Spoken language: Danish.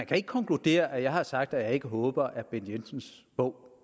kan konkludere at jeg har sagt at jeg ikke håber at bent jensens bog